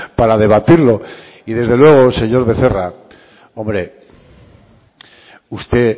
para debatirlo y desde luego señor becerra hombre usted